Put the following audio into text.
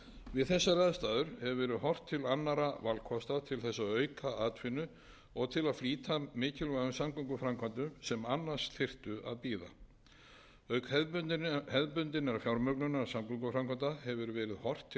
við þessar aðstæður hefur verið horft til annarra valkosta til þess að auka atvinnu og til að flýta mikilvægum samgönguframkvæmdum sem annars þyrftu að bíða auk hefðbundinnar fjármögnunar samgönguframkvæmda hefur verið horft til